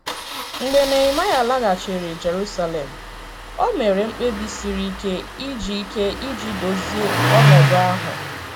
Mgbe Nehemaịa laghachiri Jerusalem, o mere mkpebi siri ike iji ike iji dozie ọnọdụ ahụ.